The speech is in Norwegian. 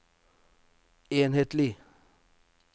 enhetlig